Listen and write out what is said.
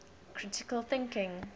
critical thinking